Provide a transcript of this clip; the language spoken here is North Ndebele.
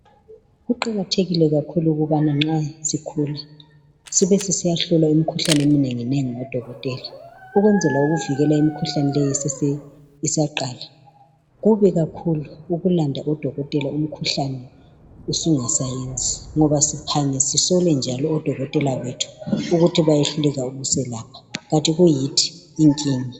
kuqhakathekile ukuthi nxa sikhula sibe sisiyahlola imikhuhlane eminengi nengi kubodokotela ukukwenzela ukuvikela imikhuhlane eyabe isaqala kubi kakhulu ukulanda odokotela imikhuhlane isingasayenzi ngoba siyandise kakhulu ukusola odokotela ukuthi abakwanisi kuhlola umkhuhlane kanti kuyithi inkinga